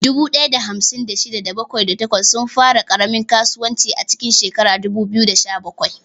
Dubu ɗaya da hamsin da shida, da bakwai, da takwas sun fara ƙaramin kasuwanci a cikin shekarar 2017.